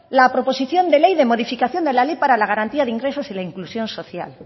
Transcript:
la proposición de ley de modificación de la ley para la garantía de ingresos y para la inclusión social